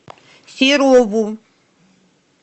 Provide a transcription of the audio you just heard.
серову